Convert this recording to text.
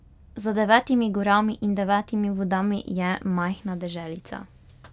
Za devetimi gorami in devetimi vodami je majhna deželica.